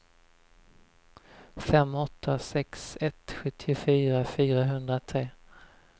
fem åtta sex ett sjuttiofyra fyrahundratre